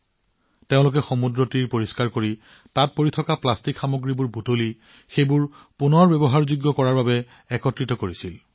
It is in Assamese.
এনচিচি কেডেটসকলে সমুদ্ৰতীৰ পৰিষ্কাৰ কৰিছিল তাৰ পৰা প্লাষ্টিকৰ আৱৰ্জনা আঁতৰ কৰিছিল আৰু ইয়াক পুনৰ্ব্যৱহাৰৰ বাবে সংগ্ৰহ কৰিছিল